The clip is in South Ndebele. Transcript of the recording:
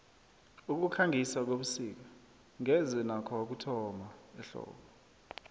ukukhangisa kwebusik ngeze nakho wakuthola ehlobo